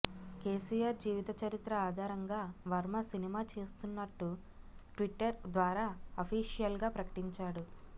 కెసిఆర్ జీవిత చరిత్ర ఆధారంగా వర్మ సినిమా చేస్తున్నట్టు ట్విట్టర్ ద్వారా అఫీషియల్ గా ప్రకటించాడు